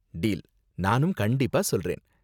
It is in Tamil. டீல்! நானும் கண்டிப்பா சொல்றேன்.